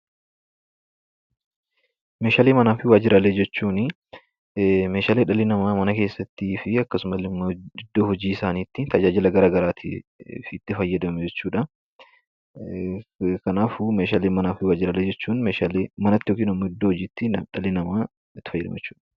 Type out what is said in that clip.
Meeshaalee manaa fi waajjiraalee jechuunii meeshaalee dhalli namaa mana keessattii fi akkasuma illee iddoo hojii isaanitti tajaajila garaagaraatiif itti fayyadamu jechuu dha. Kanaafuu, meeshaalee manaa fi waajjiraalee jechuun meeshaalee manatti yookiin immoo iddoo hojiitti dhalli namaa itti fayyadamu jechuu dha.